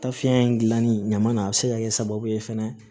Ta fiɲɛ in gilanni ɲama na a bi se ka kɛ sababu ye fɛnɛ